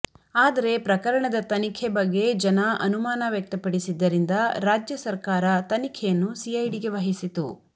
ಆದರೆ ಪ್ರಕರಣದ ತನಿಖೆ ಬಗ್ಗೆ ಜನ ಅನುಮಾನ ವ್ಯಕ್ತಪಡಿಸಿದ್ದರಿಂದ ರಾಜ್ಯ ಸರಕಾರ ತನಿಖೆಯನ್ನು ಸಿಐಡಿಗೆ ವಹಿಸಿತು